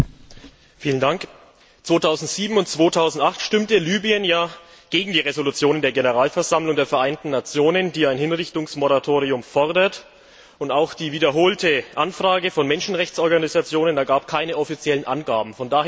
Herr Präsident! 2007 und 2008 stimmte Libyen gegen die Resolution der Generalversammlung der Vereinten Nationen, die ein Hinrichtungsmoratorium fordert, und auch die wiederholte Anfrage von Menschenrechtsorganisationen ergab keine offiziellen Angaben.